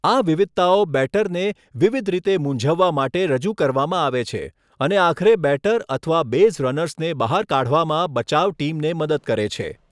આ વિવિધતાઓ બેટરને વિવિધ રીતે મૂંઝવવા માટે રજૂ કરવામાં આવે છે, અને આખરે બેટર અથવા બેઝ રનર્સને બહાર કાઢવામાં બચાવ ટીમને મદદ કરે છે.